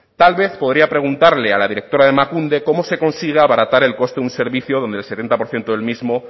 tal vez podría preguntarle a la directora de emakunde cómo se consigue abaratar el coste de un servicio donde el setenta por ciento del mismo